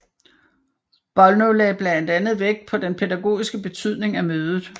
Bollnow lagde blandt andet vægt på den pædagogiske betydning af mødet